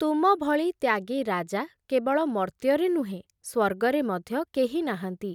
ତୁମ ଭଳି ତ୍ୟାଗୀ ରାଜା କେବଳ ମର୍ତ୍ତ୍ୟରେ ନୁହେଁ, ସ୍ଵର୍ଗରେ ମଧ୍ୟ କେହି ନାହାନ୍ତି ।